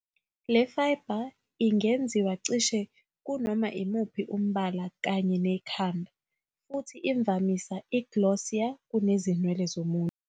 Le fiber ingenziwa cishe kunoma imuphi umbala kanye nekhanda, futhi imvamisa i-glossier kunezinwele zomuntu.